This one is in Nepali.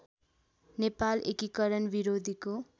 नेपाल एकीकरण विरोधीको